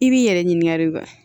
I b'i yɛrɛ ɲininka de wa